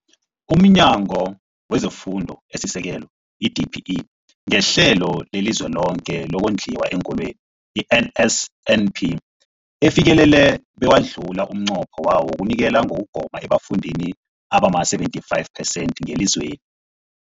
UmNyango wezeFundo esiSekelo, i-DBE, ngeHlelo leliZweloke lokoNdliwa eenKolweni, i-NSNP, ufikelele bewadlula umnqopho wawo wokunikela ngokugoma ebafundini abama-75 percent ngelizweni.